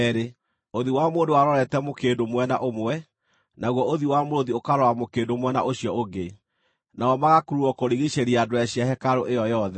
ũthiũ wa mũndũ warorete mũkĩndũ mwena ũmwe, naguo ũthiũ wa mũrũũthi ũkarora mũkĩndũ mwena ũcio ũngĩ. Namo magakururwo kũrigiicĩria ndwere cia hekarũ ĩyo yothe.